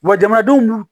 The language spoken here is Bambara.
Wa jamanadenw n'u